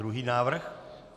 Druhý návrh.